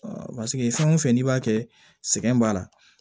paseke fɛn o fɛn n'i b'a kɛ sɛgɛn b'a la